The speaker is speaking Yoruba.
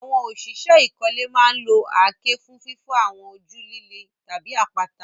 Àwọn òṣìṣẹ́ ìkọ́lé máa ń lo àáké fún fífọ́ àwọn ojú líle tàbí àpáta.